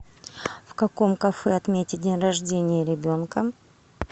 в каком кафе отметить день рождения ребенка